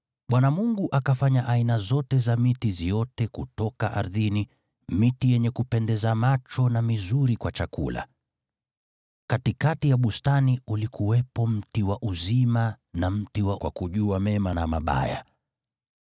Bwana Mungu akafanya aina zote za miti ziote kutoka ardhini, miti yenye kupendeza macho na mizuri kwa chakula. Katikati ya bustani ulikuwepo mti wa uzima na mti wa kujua mema na mabaya.